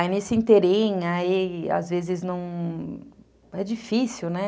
Aí nesse inteirinho, aí às vezes não... É difícil, né?